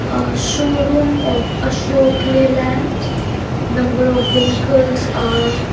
a showroom of ashok leyland number of vehicles are --